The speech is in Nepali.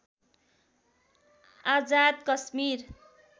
आजाद कश्मीर